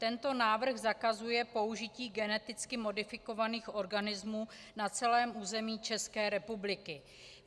Tento návrh zakazuje použití geneticky modifikovaných organismů na celém území České republiky.